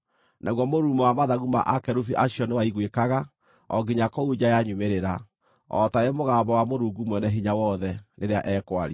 Naguo mũrurumo wa mathagu ma akerubi acio nĩwaiguĩkaga o nginya kũu nja ya nyumĩrĩra, o taarĩ mũgambo wa Mũrungu Mwene-Hinya-Wothe rĩrĩa ekwaria.